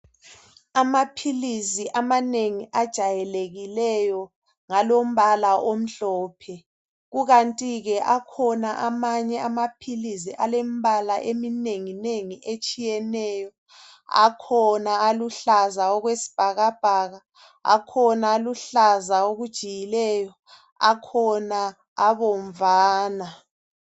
Amaphilisi amanengi ajayelekileyo ngalombala omhlophe kukantike akhona amanye amaphilisi alembala eminenginengi etshiyeneyo akhona aluhlaza okwebhakabhaka, akhona aluhlaza okujiyileyo akhona abomvana.